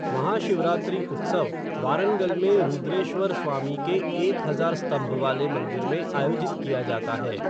महाशिवरात्रि उत्सव वारंगल में रुद्रेश्वर स्वामी के एक हजार स्तंभ वाले मंदिर में आयोजित किया जाता है।